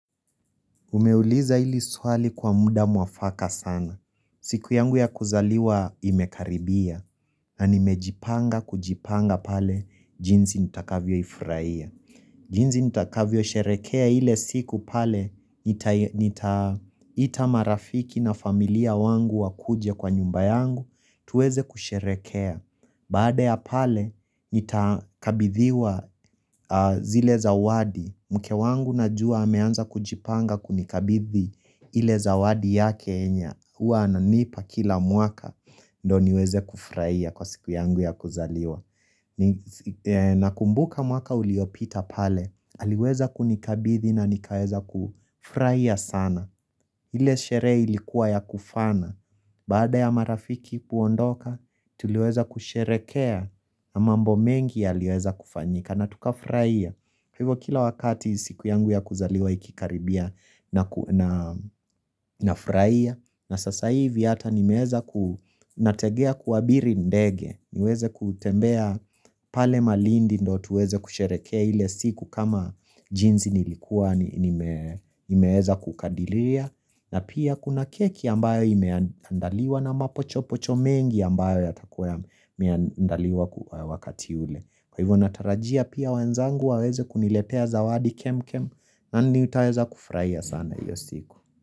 Umeuliza ili swali kwa muda mwafaka sana. Siku yangu ya kuzaliwa imekaribia na nimejipanga kujipanga pale jinsi nitakavyo ifraia. Jinzi nitakavyo sherekea ile siku pale, nita ita marafiki na familia wangu wakuje kwa nyumba yangu, tuweze kusherekea. Baada ya pale, nitakabithiwa zile zawadi, mke wangu najua ameanza kujipanga kunikabithi ile zawadi yake yenya, huwa ananipa kila mwaka, ndo niweze kufraia kwa siku yangu ya kuzaliwa. Nakumbuka mwaka uliopita pale, aliweza kunikabithi na nikaweza kufraia sana ile sheree ilikuwa ya kufana, baada ya marafiki kuondoka, tuliweza kusherekea na mambo mengi yaliweza kufanyika na tukafraia, hivo kila wakati siku yangu ya kuzaliwa ikikaribia na nafraia na sasa hivi hata nimeeza ku nategea kuabiri ndege niweze kutembea pale malindi ndo tuweze kusherekea ile siku kama jinzi nilikuwa nimeeza kukadilia na pia kuna keki ambayo imeandaliwa na mapochopocho mengi ambayo yatakuwa yameandaliwa wakati ule Kwa hivo natarajia pia wenzangu waweze kuniletea zawadi kemkem na nitaeza kufraia sana hiyo siku.